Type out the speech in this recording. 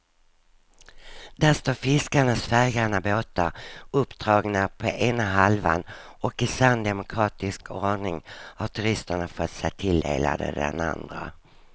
Där står fiskarnas färggranna båtar uppdragna på ena halvan och i sann demokratisk ordning har turisterna fått sig tilldelade den andra.